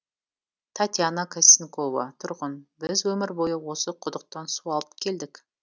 татьяна костникова тұрғын біз өмір бойы осы құдықтан су алып келдік